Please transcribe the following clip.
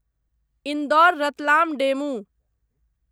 Indore Ratlam DEMU